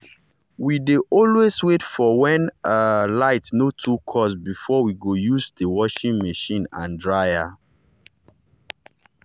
we dey always wait for when um light no too cost before we go use the washing machine and dryer.